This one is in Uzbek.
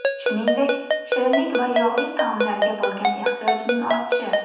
Shuningdek, shirinlik va yog‘li taomlarga bo‘lgan ehtiyojning ortishi.